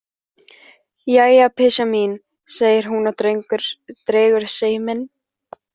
Jæja, pysjan mín, segir hún og dregur seiminn.